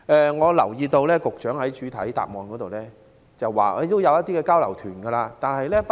我留意到局長在主體答覆中表示，會安排一些交流團。